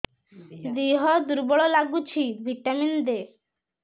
ଦିହ ଦୁର୍ବଳ ଲାଗୁଛି ଭିଟାମିନ ଦେ